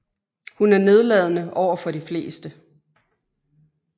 Hun er nedladende overfor de fleste